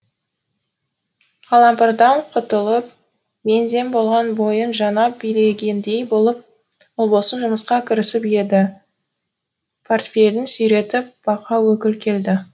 қалампырдан құтылып мең зең болған бойын жаңа билегендей болып ұлбосын жұмысқа кірісіп еді портфелін сүйретіп бақа өкіл келді